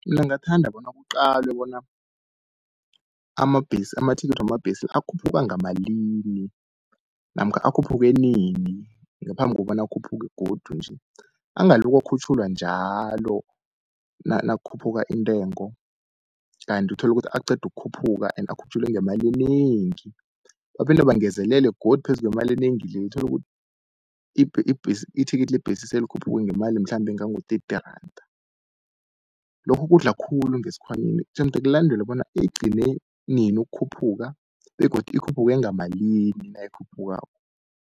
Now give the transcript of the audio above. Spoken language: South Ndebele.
Mina ngingathanda bona kuqalwe bona, amathikithi wamabhesi la akhuphuka ngamalini namkha akhuphuke nini ngaphambi kobana akhuphuke godu nje. Angaloko akhutjhulwa njalo nakukhuphuka intengo, kanti utholukuthi aqeda ukukhuphuka and akhutjhulwe ngemali enengi. Baphinde bangezelele godu phezu kwemali enengi leya, utholukuthi ithikithi lebhesi selikhuphuke ngemali mhlambe engango-thirty randa. Lokhu kudla khulu ngesikhwanyeni, jemde kulandelwe bona igcine nini ukukhuphuka begodu ikhuphuke ngamalini nayikhuphukako.